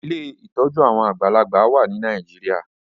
Ilé ìtọjú àwọn àgbàlagbà wá ní Nàìjíríà